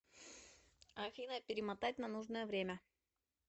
афина перемотать на нужное время